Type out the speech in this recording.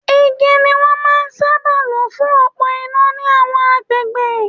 Igi ni wón ń máa sábà lo fún òpó iná ni àwọn agbègbè.